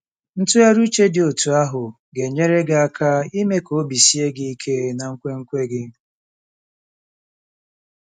Ntụgharị uche dị otú ahụ ga-enyere gị aka ime ka obi sie gị ike ná nkwenkwe gị.